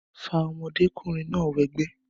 fa ọmọdékùnrin náà wẹgbẹ́